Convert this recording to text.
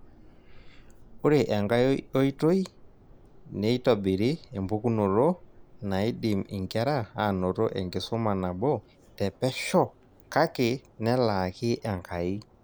Ore enkai oitoi, neitobiri empukunoto naidim inkera anoto enkisuma nabo te pesho kake nelaaki enkai.